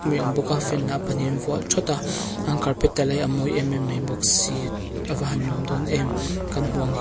mai a awm bawk a fan lah pahnih an vuah thawt a an carpet te lah hi a mawi em em mai bawk si a va han nuam dawn em kan hmuh ang hian--